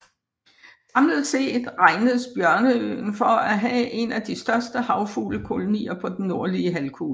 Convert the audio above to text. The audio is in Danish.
Samlet set regnes Bjørneøen for at have en af de største havfuglekolonier på den nordlige halvkugle